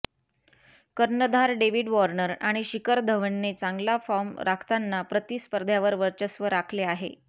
कर्णधार David Warner आणि शिखर धवनने चांगला फॉर्म राखताना प्रतिस्पध्र्यावर वर्चस्व राखले आहे